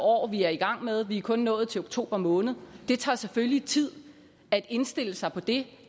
år vi er i gang med vi er kun nået til oktober måned og det tager selvfølgelig tid at indstille sig på det